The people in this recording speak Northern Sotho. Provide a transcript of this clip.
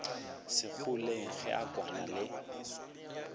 segoleng ge a kwana le